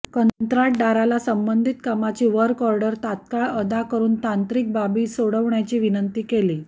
कंत्राटदाराला संबंधित कामाची वर्कऑर्डर तात्काळ अदा करून तांत्रिक बाबी सोडवण्याची विनंती केली